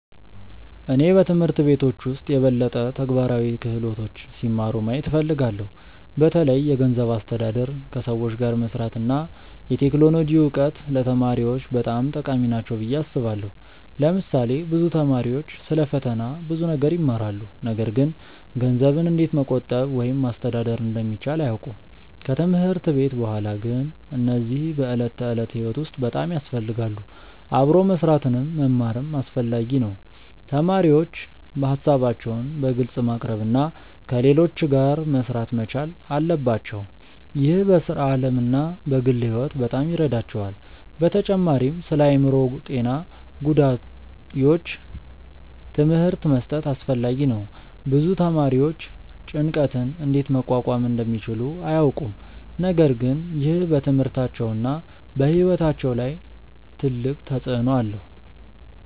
እኔ በትምህርት ቤቶች ውስጥ የበለጠ ተግባራዊ ክህሎቶች ሲማሩ ማየት እፈልጋለሁ። በተለይ የገንዘብ አስተዳደር፣ ከሰዎች ጋር መስራት እና የቴክኖሎጂ እውቀት ለተማሪዎች በጣም ጠቃሚ ናቸው ብዬ አስባለሁ። ለምሳሌ ብዙ ተማሪዎች ስለ ፈተና ብዙ ነገር ይማራሉ፣ ነገር ግን ገንዘብን እንዴት መቆጠብ ወይም ማስተዳደር እንደሚቻል አያውቁም። ከትምህርት ቤት በኋላ ግን እነዚህ በዕለት ተዕለት ሕይወት ውስጥ በጣም ያስፈልጋሉ። አብሮ መስራትንም መማርም አስፈላጊ ነው። ተማሪዎች ሀሳባቸውን በግልጽ ማቅረብ እና ከሌሎች ጋር መሥራት መቻል አለባቸው። ይህ በሥራ ዓለም እና በግል ሕይወት በጣም ይረዳቸዋል። በተጨማሪም ስለአእምሮ ጤና ጉዳዮች ትምህርት መስጠት አስፈላጊ ነው። ብዙ ተማሪዎች ጭንቀትን እንዴት መቋቋም እንደሚችሉ አያውቁም፣ ነገር ግን ይህ በትምህርታቸውና በሕይወታቸው ላይ ትልቅ ተጽእኖ አለው።